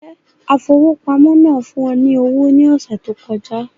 Njẹ afowópamọ́ náà fún ọ ní owó ní ọsẹ tó kọjá